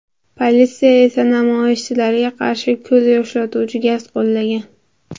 Politsiya esa namoyishchilarga qarshi ko‘z yoshlatuvchi gaz qo‘llagan.